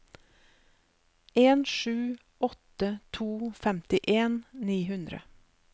en sju åtte to femtien ni hundre